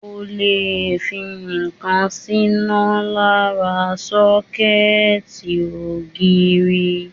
O lè fi ǹkan síná lára sọ́kẹ́ẹ̀tì ògiri.